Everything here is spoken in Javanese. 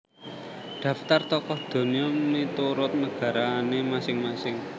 Daftar Tokoh Donya miturut negarane masing masing